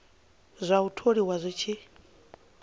zwa u tholiwa zwi tshi